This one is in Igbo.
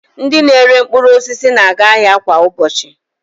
Ndị na-ere mkpụrụosisi na-aga ahịa kwa ụbọchị